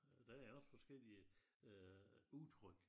Der er også forskellige udtryk